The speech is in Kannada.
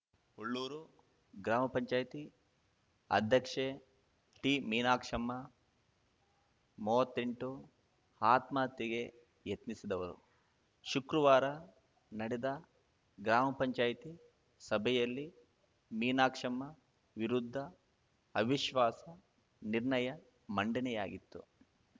ಹುಲ್ಲೂರು ಗ್ರಾಮ ಪಂಚಾಯತಿ ಅಧ್ಯಕ್ಷೆ ಟಿ ಮೀನಾಕ್ಷಮ್ಮ ಮೂವತ್ತೆಂಟು ಆತ್ಮಹತ್ಯೆಗೆ ಯತ್ನಿಸಿದವರು ಶುಕ್ರವಾರ ನಡೆದ ಗ್ರಾಮಪಂಚಾಯತಿ ಸಭೆಯಲ್ಲಿ ಮೀನಾಕ್ಷಮ್ಮ ವಿರುದ್ಧ ಅವಿಶ್ವಾಸ ನಿರ್ಣಯ ಮಂಡನೆಯಾಗಿತ್ತು